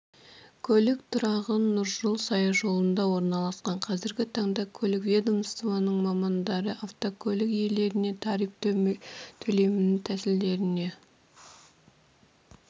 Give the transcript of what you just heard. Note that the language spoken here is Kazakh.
көлік тұрағы нұржол саяжолында орналасқан қазіргі таңда көлік ведомствосының мамандары автокөлік иелеріне тариф төлем тәсілдеріне